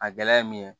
A gɛlɛya ye min ye